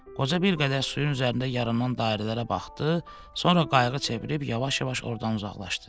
Qoca bir qədər suyun üzərində yaranan dairələrə baxdı, sonra qayığı çevirib yavaş-yavaş ordan uzaqlaşdı.